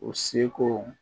U seko